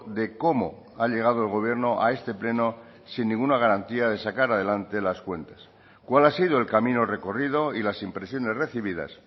de cómo ha llegado el gobierno a este pleno sin ninguna garantía de sacar adelante las cuentas cuál ha sido el camino recorrido y las impresiones recibidas